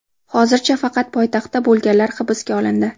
Hozircha faqat poytaxtda bo‘lganlar hibsga olindi.